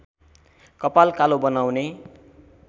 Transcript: कपाल कालो बनाउने